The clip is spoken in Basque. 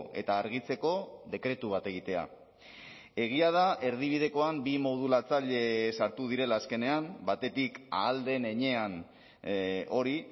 eta argitzeko dekretu bat egitea egia da erdibidekoan bi modulatzaile sartu direla azkenean batetik ahal den heinean hori